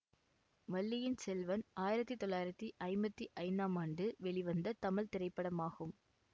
வள்ளியின் செல்வன் ஆயிரத்தி தொள்ளாயிரத்தி ஐம்பத்தி ஐந்தாம் ஆண்டு வெளிவந்த தமிழ் திரைப்படமாகும்